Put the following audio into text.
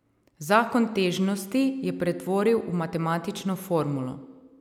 Zakon težnosti je pretvoril v matematično formulo.